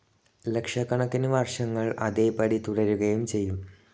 ലക്ഷക്കണക്കിനു വർഷങ്ങൾ അതേപടി തുടരുകയും ചെയ്യും.